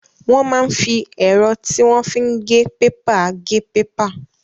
Wọ́n máa ń fi ẹ̀rọ tí wọ́n fi ń gé pépà gé pépà.